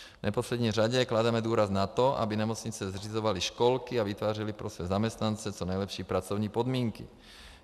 V neposlední řadě klademe důraz na to, aby nemocnice zřizovaly školky a vytvářely pro své zaměstnance co nejlepší pracovní podmínky.